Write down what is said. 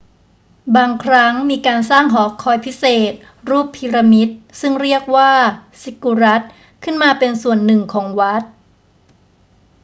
บางครั้งมีการสร้างหอคอยพิเศษรูปพีระมิดซึ่งเรียกว่าซิกกุรัตขึ้นมาเป็นส่วนหนึ่งของวัด